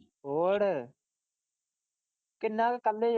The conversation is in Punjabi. ਹੋਰ ਇੰਨਾ ਕ ਕੱਲੇ।